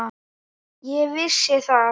Ég vissi það.